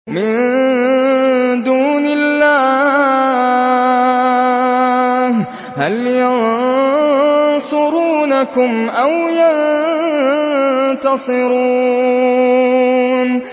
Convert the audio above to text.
مِن دُونِ اللَّهِ هَلْ يَنصُرُونَكُمْ أَوْ يَنتَصِرُونَ